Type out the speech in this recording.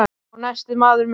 Og nestið, maður minn!